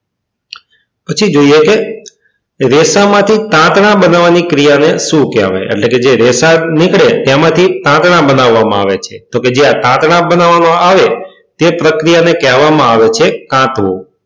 પછી જોઈએ કે રેસામાંથી તાંતણા બનાવવાની ક્રિયાને શું કહેવાય કે જે રેસા નીકળે તેમાંથી તાંતણા બનાવવામાં આવે છે તો કે જ્યાં તાંતણા બનાવવામાં આવે તે પ્રક્રિયાને કહેવામાં આવે છે કાંતવું.